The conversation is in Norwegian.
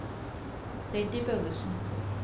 Freddy Børresen